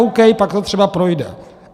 OK, pak to třeba projde.